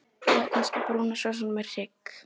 Eða kannski brún sósa með hrygg?